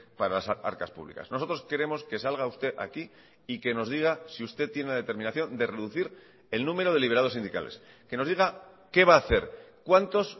para las arcas públicas nosotros queremos que salga usted aquí y que nos diga si usted tiene la determinación de reducir el número de liberados sindicales que nos diga qué va ha hacer cuantos